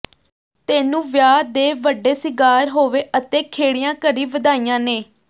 ਤੈਨੂੰ ਵਿਆਹ ਦੇ ਵੱਡੇ ਸਿੱਘਾਰ ਹੋਵੇ ਅਤੇ ਖੇੜਿਆਂ ਘਰੀਂ ਵਧਾਈਆਂ ਨੇ